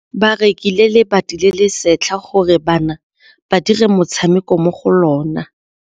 Ba rekile lebati le le setlha gore bana ba dire motshameko mo go lona.